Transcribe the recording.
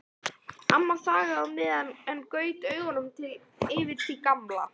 Amma þagði á meðan en gaut augunum yfir til Gamla.